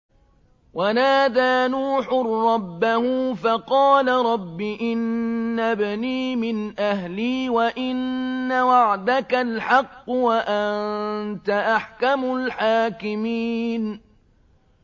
وَنَادَىٰ نُوحٌ رَّبَّهُ فَقَالَ رَبِّ إِنَّ ابْنِي مِنْ أَهْلِي وَإِنَّ وَعْدَكَ الْحَقُّ وَأَنتَ أَحْكَمُ الْحَاكِمِينَ